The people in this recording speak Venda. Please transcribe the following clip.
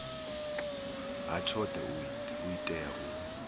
ha tshoṱhe u tea u